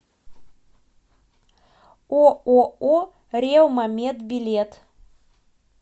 ооо ревма мед билет